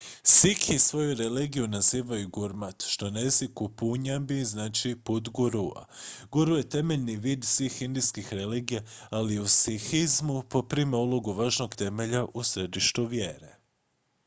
"sikhi svoju religiju nazivaju gurmat što na jeziku punjabi znači "put gurua"". guru je temeljni vid svih indijskih religija ali u sikhizmu poprima ulogu važnog temelja u središtu vjere.